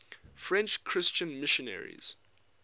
french christian missionaries